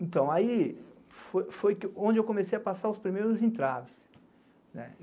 Então, aí foi onde eu comecei a passar os primeiros entraves.